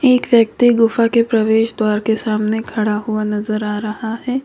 एक व्यक्ति गुफा के प्रवेश द्वार के सामने खड़ा हुआ नजर आ रहा है।